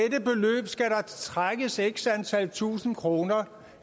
trækkes x antal tusinde kroner